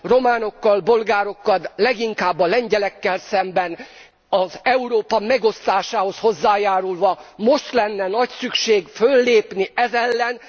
Románokkal, bolgárokkal, leginkább a lengyelekkel szemben, Európa megosztásához hozzájárulva most lenne nagy szükség föllépni ez ellen.